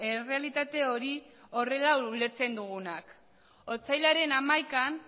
errealitate hori horrela ulertzen dugunak otsailaren hamaikan